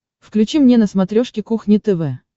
включи мне на смотрешке кухня тв